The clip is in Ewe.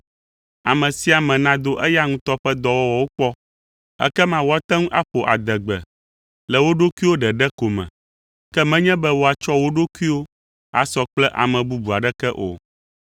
Ame sia ame nado eya ŋutɔ ƒe dɔwɔwɔwo kpɔ, ekema woate ŋu aƒo adegbe le wo ɖokuiwo ɖeɖe ko me, ke menye be woatsɔ wo ɖokuiwo asɔ kple ame bubu aɖeke o,